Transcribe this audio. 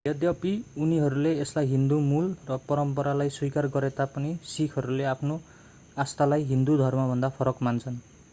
यद्यपि उनीहरूले यसलाई हिन्दु मूल र परम्परालाई स्वीकार गरेता पनि सिखहरूले आफ्नो आस्थालाई हिन्दु धर्मभन्दा फरक मान्छन्